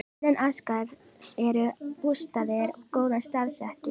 Innan Ásgarðs eru bústaðir goðanna staðsettir.